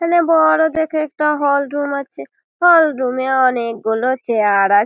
এখানে বড় দেখে একটা হলরুম আছে। হলরুম -এ অনেকগুলো চেয়ার আছে।